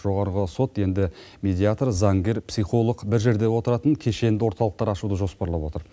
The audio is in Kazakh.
жоғарғы сот енді медиатор заңгер психолог бір жерде отыратын кешенді орталықтар ашуды жоспарлап отыр